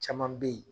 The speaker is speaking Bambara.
Caman bɛ yen